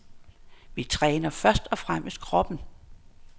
Vi træner først og fremmest kroppen.